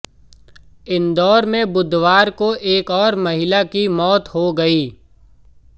इंदौर में बुधवार को एक और महिला की मौत हो गई